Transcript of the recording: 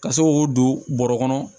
Ka se k'o don bɔrɔ kɔnɔ